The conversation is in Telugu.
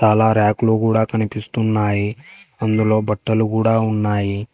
చాలా ర్యాకులు కూడా కనిపిస్తున్నాయి అందులో బట్టలు కూడా ఉన్నాయి.